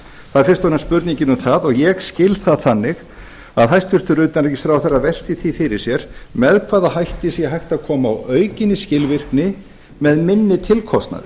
það er fyrst og fremst spurningin um það og ég skil það þannig að hæstvirtur utanríkisráðherra velti því fyrir sér með hvaða hætti sé hægt að koma á aukinni skilvirkni með minni tilkostnaði